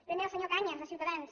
primer al senyor cañas de ciutadans